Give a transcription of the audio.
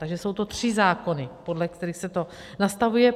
Takže jsou to tři zákony, podle kterých se to nastavuje.